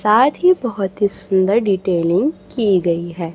साथ ही बहोत ही सुंदर डिटेलिंग की गई है।